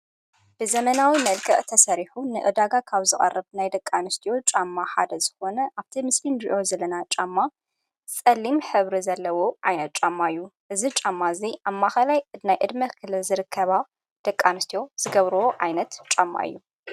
ብዘመናዊ ነልቀቕ ተሰሪሑ ንዕዳጋ ካብ ዝዋርብ ናይ ደቃንስትዩ ጫማ ሓደ ዝኾነ ኣብቲ ምስሊን ድእዮ ዝለና ጫማ ፈሊም ሕብሪ ዘለዎ ዓይነት ጻማእዩ እዝ ጫማ እዘይ ኣብ ማኸላይ እናይ እድሚ ክለ ዝርከባ ደቃንስትዎ ዝገብርዎ ዓይነት ጫማ እዩ።